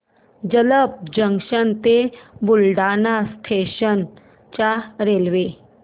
Jalamb junction ते Buldhana station च्या railway